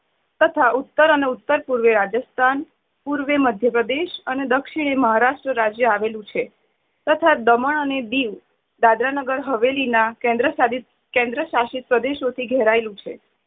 તથા ઉત્તર અને ઉત્તર પૂર્વે રાજસ્થાન પૂર્વે મદયપ્રદેશ અને દક્ષિણે મહારાષ્ટ્ર રાજય આવેલું છે. તથા દમણ અને દીવ દાદરા નગર હવેલી ના કેન્દ્શાસિત ~કેન્દ્રસાશિત પ્રદેશો થી ઘેરાયેલું છે.